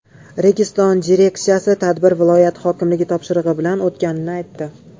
Registon direksiyasi tadbir viloyat hokimligi topshirig‘i bilan o‘tganini aytdi.